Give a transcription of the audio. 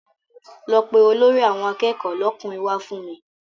Lọ pe Olórí àwọn akẹ́kọ̀ọ́ lọ́kùnrin wá fún mi